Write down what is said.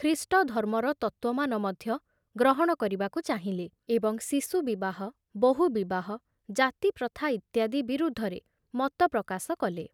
ଖ୍ରୀଷ୍ଟଧର୍ମର ତତ୍ତ୍ବମାନ ମଧ୍ୟ ଗ୍ରହଣ କରିବାକୁ ଚାହିଁଲେ, ଏବଂ ଶିଶୁ ବିବାହ, ବହୁ ବିବାହ, ଜାତିପ୍ରଥା ଇତ୍ୟାଦି ବିରୁଦ୍ଧରେ ମତ ପ୍ରକାଶ କଲେ।